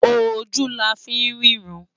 Ójú lá fi n rirãn